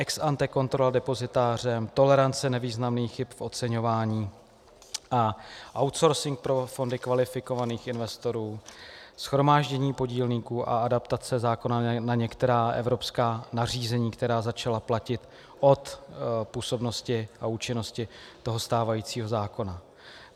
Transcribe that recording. Ex ante kontrola depozitářem, tolerance nevýznamných chyb v oceňování a outsourcing pro fondy kvalifikovaných investorů, shromáždění podílníků a adaptace zákona na některá evropská nařízení, která začala platit od působnosti a účinnosti toho stávajícího zákona.